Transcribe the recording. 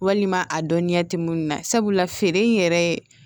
Walima a dɔnniya tɛ minnu na sabula feere in yɛrɛ ye